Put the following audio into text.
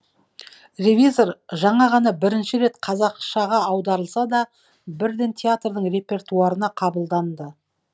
ревизор жаңа ғана бірінші рет қазақшаға аударылса да бірден театрдың репертуарына қабылданды